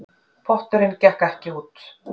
Potturinn gekk ekki út